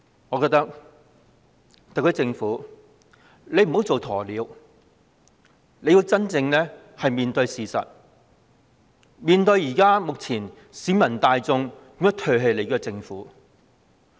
我認為特區政府不應做鴕鳥，要真正面對事實，了解當前為何市民大眾會唾棄政府。